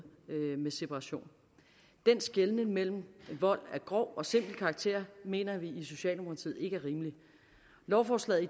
med separation den skelnen mellem vold af grov og simpel karakter mener vi i socialdemokratiet ikke er rimelig lovforslaget